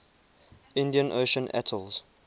indian ocean atolls